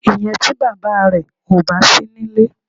Ìyẹn tí bàbá rẹ ò bá sí nílé.